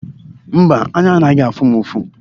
Mba, anya anaghị afụ m ụfụ.